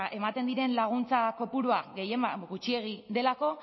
ematen diren laguntza kopurua gehienbat gutxiegi delako